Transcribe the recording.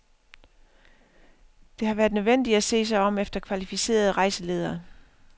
Det har været nødvendigt at se sig om efter kvalificerede rejseledere.